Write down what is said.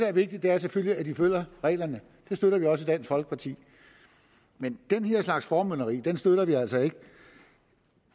er vigtigt er selvfølgelig at de følger reglerne det støtter vi også i dansk folkeparti men den her slags formynderi støtter vi altså ikke